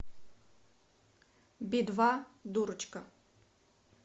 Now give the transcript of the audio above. би два дурочка